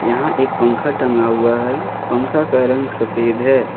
यहां एक पंखा टंगा हुआ है पंखा का रंग सफेद है।